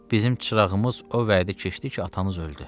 Bizim çırağımız o vaxt idi keçdi ki, atanız öldü.